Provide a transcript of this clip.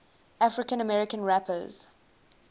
african american rappers